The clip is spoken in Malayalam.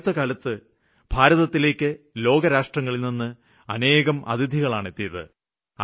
ഈ അടുത്തകാലത്ത് ഭാരതത്തിലേക്ക് ലോക രാഷ്ട്രങ്ങളില്നിന്ന് അനേകം അതിഥികളാണ് എത്തിയത്